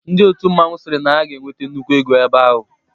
Ndị otu mmanwụ sịrị na ha ga-enwete nnukwu ego ebe ahụ.